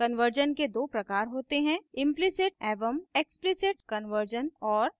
conversion के दो प्रकार होते हैं implicit एवं explicit कन्वर्जन और